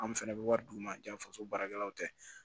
Anw fɛnɛ bɛ wari d'u ma janfa so baarakɛlaw tɛ